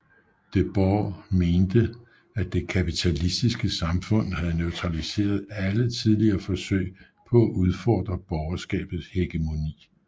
Debord mente at det kapitalistiske samfund havde neutraliseret alle tidligere forsøg på at udfordre borgerskabets hegemoni